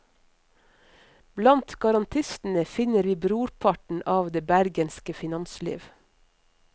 Blant garantistene finner vi brorparten av det bergenske finansliv.